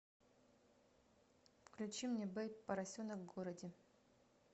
включи мне бэйб поросенок в городе